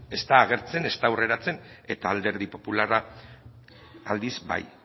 ez da agertzen ez da hurreratzen eta alderdi popularra aldiz bai